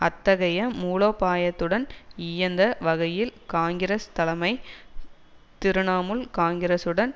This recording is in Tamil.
அத்தகைய மூலோபாயத்துடன் இயைந்த வகையில் காங்கிரஸ் தலைமை திருணமூல் காங்கிரஸுடன்